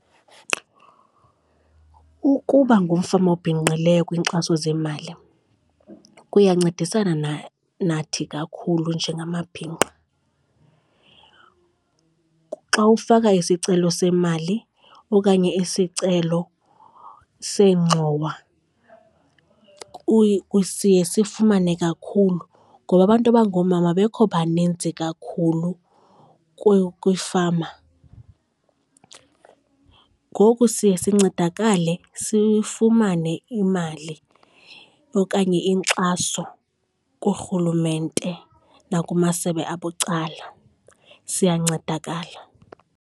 Ukuba ngumfama obhinqileyo kwiinkxaso zemali kuyancedisana nathi kakhulu njengamabhinqa. Xa ufaka isicelo semali okanye isicelo seengxowa siye sifumane kakhulu, ngoba abantu abangoomama abekho baninzi kakhulu kwiifama. Ngoku siye sincedakale sifumane imali okanye inkxaso kurhulumente nakumasebe abucala siyancedakala.